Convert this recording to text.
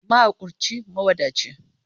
Mahakurci, mawadaci.